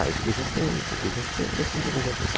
Ah, isso aqui eu já sei, isso aqui eu já sei, esse aqui também já sei.